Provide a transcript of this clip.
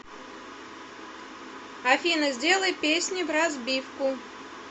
афина сделай песни вразбивку